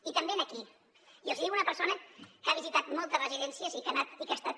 i també aquí i els ho diu una persona que ha visitat moltes residències i que ha anat i que ha estat